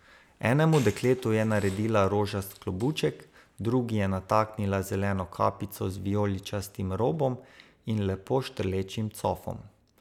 Enemu dekletu je naredila rožast klobuček, drugi je nataknila zeleno kapico z vijoličastim robom in lepo štrlečim cofom.